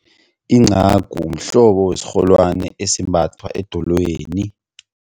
Incagu mhlobo wesirholwani esimbathwa edolweni.